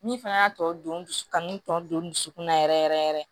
Min fɛnɛ y'a tɔ don dusu kanu tɔ don dusukun na yɛrɛ yɛrɛ yɛrɛ